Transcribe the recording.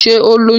Ṣé ó lóyún?